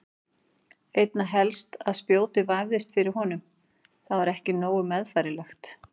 Einna helst að spjótið vefðist fyrir honum, það var ekki nógu meðfærilegt.